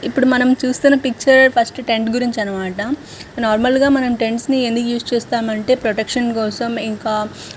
ఇప్పుడు మనం చూస్తున పిక్చర్ టెంట్ గురించి అన్నమాట నార్మల్ గ మనం టెంట్స్ ని ఎందుకు ఉస్ చేస్తామంటే ప్రొటెక్షన్ కి అన్నమాట ఇంకా--